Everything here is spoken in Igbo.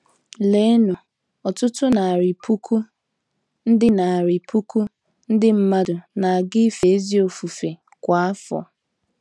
Leenụ, ọtụtụ narị puku ndị narị puku ndị mmadụ na-aga ife ezi ofufe kwa afọ.